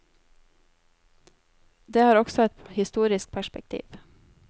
Det har også et historisk perspektiv.